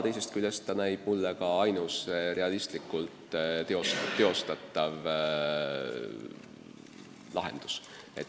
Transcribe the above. Teisest küljest näib see mulle ka ainus realistlikult teostatav lahendus.